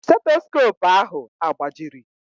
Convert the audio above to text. Stetoskopu ahụ agbajiri?